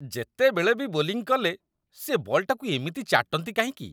ଯେତେବେଳେ ବି ବୋଲିଂ କଲେ, ସିଏ ବଲ୍‌ଟାକୁ ଏମିତି ଚାଟନ୍ତି କାହିଁକି ?